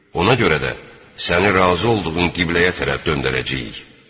Ona görə də səni razı olduğun qibləyə tərəf döndərəcəyik.